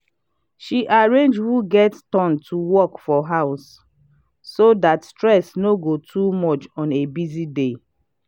she arrange who get turn to work for house so dat stress no go too much on a busy day